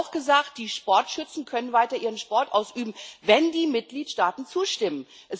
Es wurde auch gesagt, die Sportschützen können weiter ihren Sport ausüben, wenn die Mitgliedstaaten zustimmen.